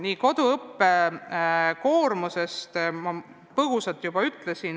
Nii, koduõppe koormusest ma põgusalt juba rääkisin.